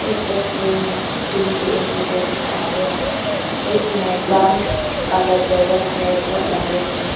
इस तस्वीर में रूम के इंटीरियर दिखाया है जिसमें ब्राउन कलर टेबल है बहुत लंबे से।